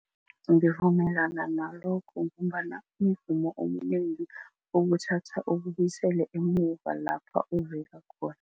Ngivumelana nalokho ngombana umvumo omnengi ukuthatha ukubuyisele emuva lapha uvela khona.